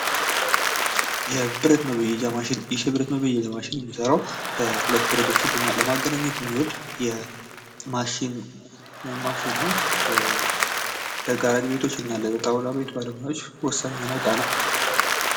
የብረት መበየጃ ማሽን ይህ የህብረት መበየጃ ማሽን የሚሰራው ሁለት ብረቶችን ለማገናኘት የሚውል ማሽን ነው ጣውላ ቤትና ላይ ባለሙያዎች ወሳኝ የሆነ ማሽን ነው